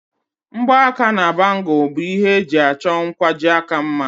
Mgbaaka na bangùlu bụ ihe eji achọ nkwajiaka mma